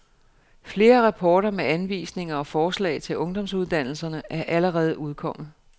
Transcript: Flere rapporter med anvisninger og forslag til ungdomsuddannelserne er allerede udkommet.